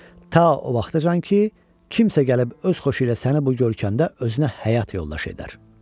Ta o vaxtacan ki, kimsə gəlib öz xoşu ilə səni bu görkəmdə özünə həyat yoldaşı edər.